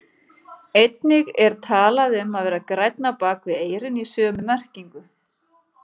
Einnig er talað um að vera grænn á bak við eyrun í sömu merkingu.